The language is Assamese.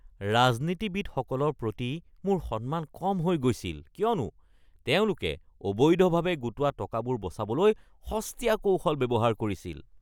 ৰাজনীতিবিদসকলৰ প্ৰতি মোৰ সন্মান কম হৈ গৈছিল কিয়নো তেওঁলোকে অবৈধভাৱে গোটোৱা টকাবোৰ বচাবলৈ সস্তীয়া কৌশল ব্যৱহাৰ কৰিছিল।